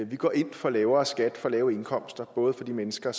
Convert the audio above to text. vi går ind for lavere skat for lavere indkomster både for de mennesker